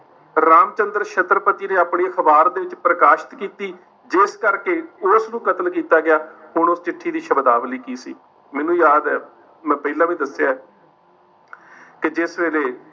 ਰਾਮਚੰਦ੍ਰ ਛੱਤਰਪਤੀ ਨੇ ਆਪਣੇ ਅਖਬਾਰ ਦੇ ਵਿੱਚ ਪ੍ਰਕਾਸ਼ਿਤ ਕੀਤੀ ਜਿਸ ਕਰਕੇ ਉਸ ਨੂੰ ਕਤਲ ਕੀਤਾ ਗਿਆ। ਹੁਣ ਉਹ ਚਿੱਠੀ ਦੀ ਸ਼ਬਦਾਵਲੀ ਕੀ ਸੀ, ਮੈਨੂੰ ਯਾਦ ਹੈ ਮੈਂ ਪਹਿਲਾਂ ਵੀ ਦਸਿਆ ਹੈ ਕਿ ਜਿਸ ਵੇਲੇ